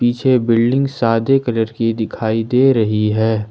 पीछे बिल्डिंग सादे कलर की दिखाई दे रही है।